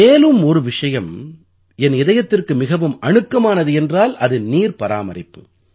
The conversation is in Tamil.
மேலும் ஒரு விஷயம் என் இதயத்திற்கு மிகவும் அணுக்கமானது என்றால் அது நீர் பராமரிப்பு